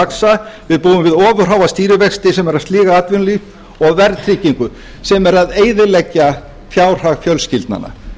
vaxa við búum við ofurháa stýrivexti sem eru að sliga atvinnulíf og verðþykkingu sem er að eyðileggja fjárhag fjölskyldnanna